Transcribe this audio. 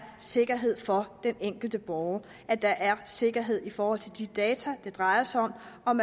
sikkerhed for den enkelte borger at der er sikkerhed i forhold til de data det drejer sig om